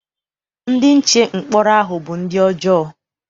Ndị nche mkpọrọ ahụ bụ ndị ọjọọ.